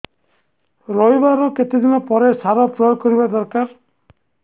ରୋଈବା ର କେତେ ଦିନ ପରେ ସାର ପ୍ରୋୟାଗ କରିବା ଦରକାର